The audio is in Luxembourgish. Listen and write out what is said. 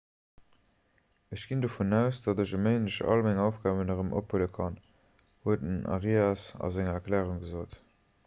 ech ginn dovun aus datt ech e méindeg all meng aufgaben erëm ophuele kann huet den arias an enger erklärung gesot